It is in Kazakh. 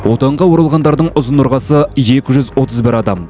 отанға оралғандардың ұзын ырғасы екі жүз отыз бір адам